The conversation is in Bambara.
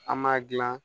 An m'a gilan